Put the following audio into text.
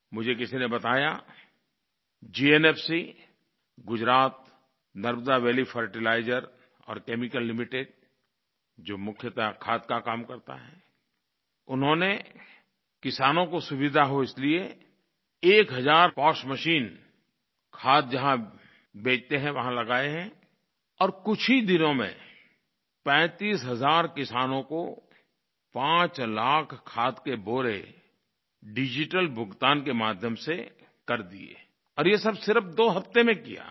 मुझे किसी ने बताया GNFC Gujarat Narmada valley fertiliser और केमिकल लिमिटेड जो मुख्यतः खाद का काम करता है उन्होंने किसानों को सुविधा हो इसलिये एक हज़ार पोज मशीन खाद जहाँ बेचते हैं वहाँ लगाए हैं और कुछ ही दिनों में 35 हज़ार किसानों को 5 लाख खाद के बोरे डिजिटल भुगतान के माध्यम से कर दिये और ये सब सिर्फ दो हफ्ते में किया है